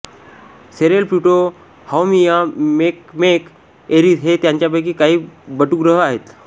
Ceres Pluto Haumea Makemake Eris हे त्यांच्यापैकी काही बटुग्रह आहेत